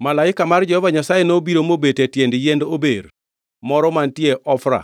Malaika mar Jehova Nyasaye nobiro mobet e tiend yiend ober moro mantiere Ofra